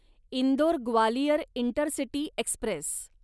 Indore Gwalior intercity Express